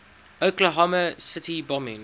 oklahoma city bombing